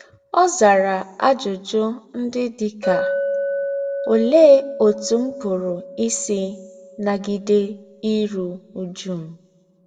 Ọ̀ zárà àjùjù ndí́ dí ká: Óléé ótú m̀ pùrù ísí nà-gídé írú újú m̀?